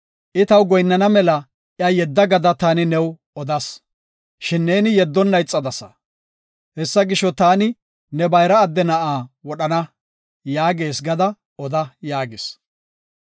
I taw goyinnana mela iya yedda gada taani new odas. Shin neeni yeddonna ixadasa. Hessa gisho, taani ne bayra adde na7aa wodhana’ yaagees gada oda” yaagis.